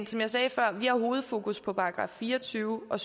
som jeg sagde før har vi hovedfokus på § fire og tyve og